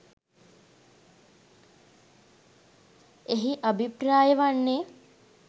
එහි අභිප්‍රාය වන්නේ